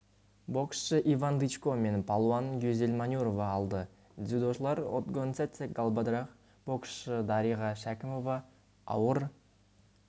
боксшы иван дычко пен палуан гюзель манюрова алды дзюдошылар отгонцэцэг галбадрах боксшы дариға шәкімова ауыр